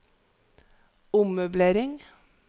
ommøblering